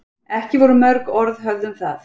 Ekki voru mörg orð höfð um það.